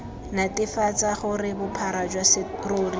netefatse gore bophara jwa serori